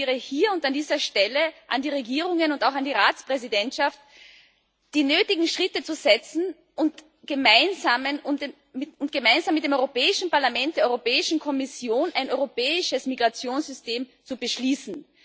Und ich appelliere hier und an dieser Stelle an die Regierungen und auch an die Ratspräsidentschaft, die nötigen Schritte zu setzen und gemeinsam mit dem Europäischen Parlament und der Europäischen Kommission ein europäisches Migrationssystem zu beschließen.